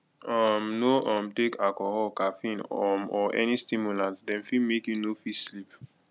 um no um take alcohol caffeine um or any stimulant dem fit make you no fit sleep